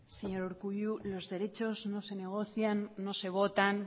señor urkullu los derechos no se negocian no se votan